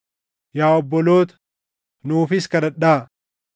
Yaa obboloota, nuufis kadhadhaa.